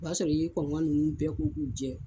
O y'a sɔrɔ i ye kɔnkɔn ninnu bɛɛ ko k'u jɛ.